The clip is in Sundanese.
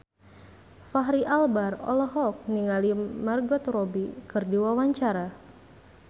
Fachri Albar olohok ningali Margot Robbie keur diwawancara